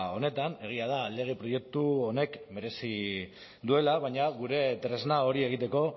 honetan egia da lege proiektu honek merezi duela baina gure tresna hori egiteko